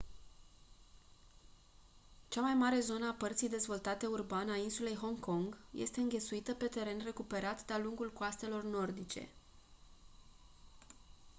cea mai mare zonă a părții dezvoltate urban a insulei hong kong este înghesuită pe teren recuperat de-a lungul coastelor nordice